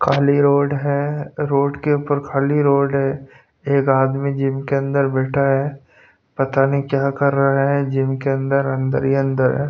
खाली रोड है रोड के ऊपर खाली रोड है एक आदमी जिम के अंदर बैठा है पता नहीं क्या कर रहा है जिम के अंदर अंदर ही अंदर है।